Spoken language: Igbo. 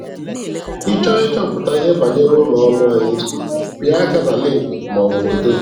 Ị chọọ ịchọpụta ihe banyere ụlọ ọrụ anyị, pịa aka na lịnkị maọbụ foto.